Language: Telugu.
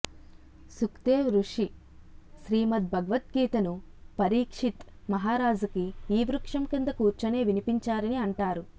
సుఖ్ దేవ్ రుషి శ్రీమద్ భగవత్ గీతని పరీక్షిత్ మహారాజుకి ఈ వృక్షం కింద కూర్చునే వినిపించారని అంటారు